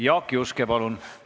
Jaak Juske, palun!